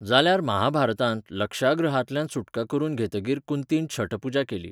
जाल्यार महाभारतांत, लक्षागृहांतल्यान सुटका करून घेतकीर कुंतीन छठ पूजा केली.